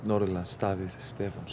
Davíðs Stefánssonar